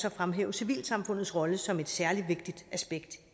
at fremhæve civilsamfundets rolle som et særlig vigtigt aspekt